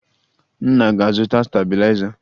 Nna a ga-azụta stabiliza?